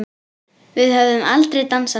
Við höfum aldrei dansað saman.